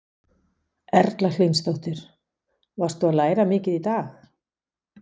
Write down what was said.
Erla Hlynsdóttir: Varst þú að læra mikið í dag?